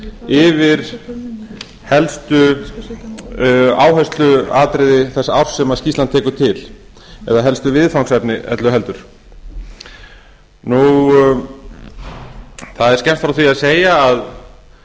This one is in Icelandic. yfir helstu áhersluatriði þess árs sem skýrslan tekur til eða helstu viðfangsefni öllu heldur það er skemmst frá því að